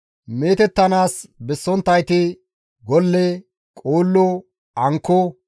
Meetettanaas bessonttayti golle, qoollo, ankko,